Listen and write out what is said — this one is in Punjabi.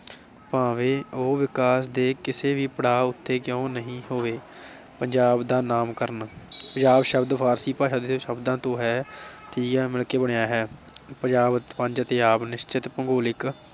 ਭਾਵੇ ਉਹ ਵਿਕਾਸ ਦੇ ਕਿਸੇ ਵੀ ਪੜਾਅ ਉੱਤੇ ਕਿਉ ਨਹੀ ਹੋਵੇ। ਪੰਜਾਬ ਦਾ ਨਾਮ ਕਰਨਾ, ਪੰਜਾਬ ਸ਼ਬਦ ਫਾਰਸੀ ਭਾਸ਼ਾ ਦੇ ਸ਼ਬਦਾਂ ਤੋਂ ਹੈ ਠੀਕ ਐ ਮਿਲ ਕੇ ਬਣਿਆ ਹੈ ਪੰਜਾਬ ਪੰਜ ਅਤੇ ਆਬ ਨਿਸ਼ਚਿਤ ਭੂਗੋਲਿਕ